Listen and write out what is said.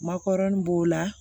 Makɔrɔni b'o la